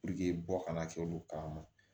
bɔ kana kɛ olu kama